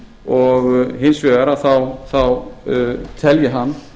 og hins vegar telji hann